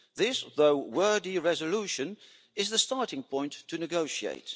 This though wordy resolution is the starting point to negotiate.